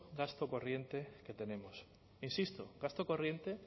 gasto corriente que tenemos insisto gasto corriente